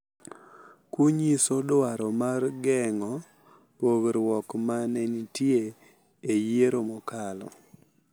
Kunyiso dwaro mar geng’o pogruok ma ne nitie e yiero mokalo.